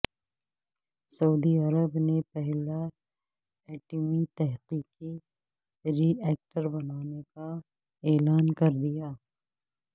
سعودی عرب نے پہلا ایٹمی تحقیقی ری ایکٹر بنانے کا اعلان کر دیا